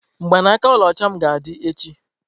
Mgbanaaka ọlaọcha m ga-adị echi.